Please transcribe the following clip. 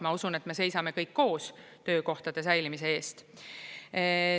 Ma usun, et me seisame kõik koos töökohtade säilimise eest.